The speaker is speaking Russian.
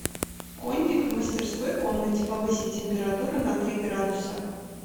кондик в мастерской комнате повысить температуру на три градуса